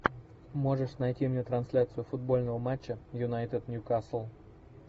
можешь найти мне трансляцию футбольного матча юнайтед ньюкасл